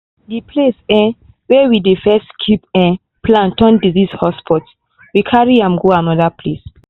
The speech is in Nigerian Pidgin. the place um way we dey first keep um plant turn disease hotspot so we carry am go another place.